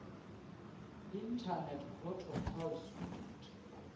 internet protocol suite